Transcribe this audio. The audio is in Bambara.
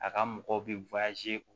A ka mɔgɔw bɛ o